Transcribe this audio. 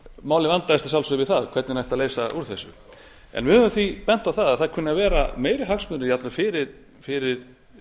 málið vandaðist að sjálfsögðu við það hvernig ætti að leysa úr þessu við höfum því bent á það að það kunni að vera meiri hagsmunir jafnvel fyrir